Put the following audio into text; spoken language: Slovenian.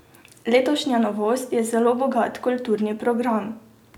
Letošnja novost je zelo bogat kulturni program.